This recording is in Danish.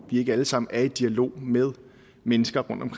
ikke alle sammen er i dialog med mennesker